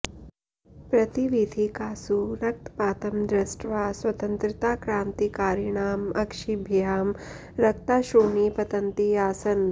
प्रतिवीथिकासु रक्तपातं दृष्ट्वा स्वतन्त्रताक्रान्तिकारिणां अक्षिभ्यां रक्ताश्रूणि पतन्ति आसन्